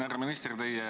Härra minister!